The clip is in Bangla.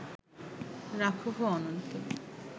রাখহ অন্তর